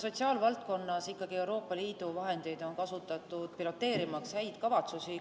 Sotsiaalvaldkonnas Euroopa Liidu vahendeid on kasutatud, piloteerimaks häid kavatsusi.